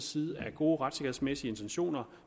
side er gode retssikkerhedsmæssige intentioner